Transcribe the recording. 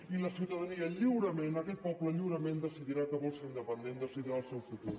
i la ciutadania lliurement aquest poble lliurement decidirà que vol ser independent decidirà el seu futur